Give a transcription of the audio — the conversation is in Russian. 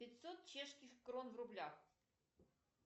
пятьсот чешских крон в рублях